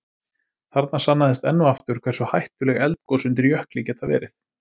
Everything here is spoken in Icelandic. Þarna sannaðist enn og aftur hversu hættuleg eldgos undir jökli geta verið.